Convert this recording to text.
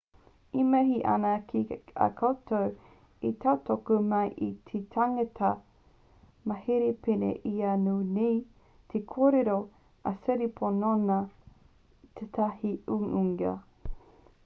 e mihi ana ki a koutou i tautoko mai i te tangata mauhere pēnei i a au nei te kōrero a siriporn nōnā i tētahi uiuinga